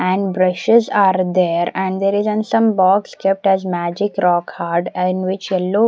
and brushes are there and there is an some box kept as magic rock hard and which yellow --